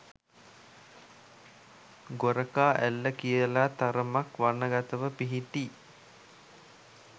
ගොරකා ඇල්ල කියලා තරමක් වනගතව පිහිටි